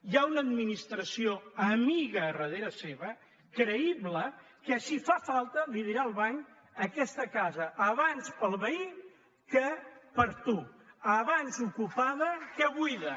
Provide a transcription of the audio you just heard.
hi ha una administració ami·ga al darrere seu creïble que si fa falta dirà al banc aquesta casa abans per al veí que per a tu abans ocupada que buida